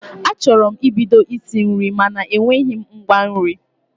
Achọrọ m ibido isi nri mana enweghị m ngwa nri